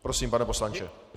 Prosím, pane poslanče.